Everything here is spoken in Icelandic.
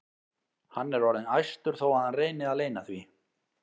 Hann er orðinn æstur þó að hann reyni að leyna því.